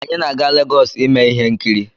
Anyị na-aga Legọs ime ihe nkiri.